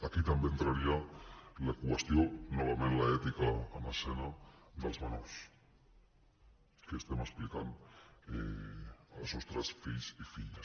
aquí també hi entraria la qüestió novament l’ètica en escena dels menors què estem explicant als nostres fills i filles